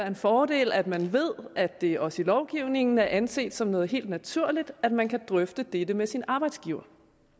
en fordel at man ved at det også i lovgivningen er anset som noget helt naturligt at man kan drøfte dette med sin arbejdsgiver